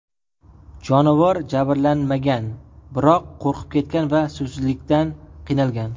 Jonivor jabrlanmagan, biroq qo‘rqib ketgan va suvsizlikdan qiynalgan.